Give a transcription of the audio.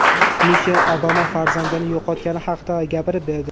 Mishel Obama farzandini yo‘qotgani haqida gapirib berdi.